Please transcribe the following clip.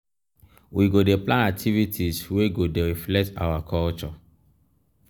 we go dey plan activities wey go dey reflect our culture.